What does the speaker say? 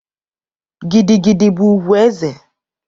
Gigi gidi bụ ugwu eze.